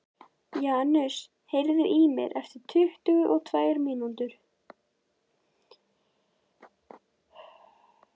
Janus, heyrðu í mér eftir tuttugu og tvær mínútur.